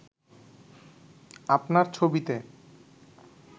আপনার ছবিতে